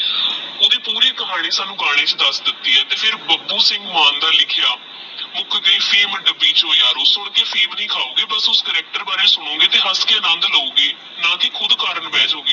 ਓਹਦੀ ਪੂਰੀ ਖਾਣੀ ਸਾਨੂ ਗਾਨੇ ਚ ਦਸ ਦਿਤੀ ਆਹ ਤੇਹ ਫਿਰ ਬਾਪੁ ਸਿੰਘ ਮਾਨ ਦਾ ਲਿਖਯਾ ਮੁਕ ਗਈ ਫੇਮ ਦੱਬੀ ਚੋ ਯਾਰੋ ਸੁਣਕੇ ਫੇਮ ਨਹੀ ਕਹੋਗੇ ਪਰ ਉਸ character ਬਾਰੇ ਸੁਣੋਗੇ ਤਹ ਹੱਸ ਕ ਅਨੰਦੁ ਲੋਗੇ ਨਾ ਕੀ ਖੁਦ ਕਰਨ ਬਹ ਜੋਗੇ